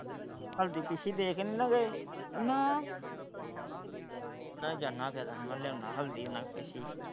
ਹਲਦੀ ਤੁਸੀਂ ਦੇ ਕੇ ਨਹੀਂ ਗਏ ਨਾ ਮੈਂ ਜਾਣਾ ਫ਼ੇਰ ਮੈਂ ਲਿਆਉਣ ਹਲਦੀ ਉਹਨਾਂ ਕੋਲ ਪਿਸੀ।